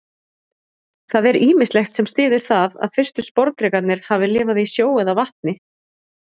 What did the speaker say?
Það er ýmislegt sem styður það að fyrstu sporðdrekarnir hafi lifað í sjó eða vatni.